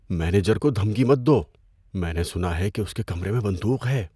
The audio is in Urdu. مینیجر کو دھمکی مت دو۔ میں نے سنا ہے کہ اس کے کمرے میں بندوق ہے۔